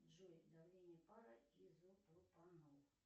джой давление пара изопропанол